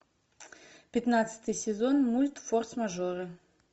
пятнадцатый сезон мульт форс мажоры